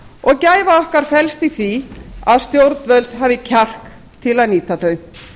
og gæfa okkar felst í því að stjórnvöld hafi kjark til að nýta þau